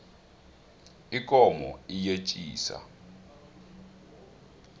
ikomo iyetjisa